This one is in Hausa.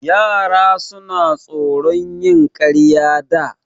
Yara suna tsoron yin ƙarya da.